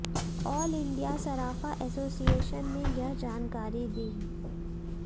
आल India Sarafa association ने यह जानकारी दी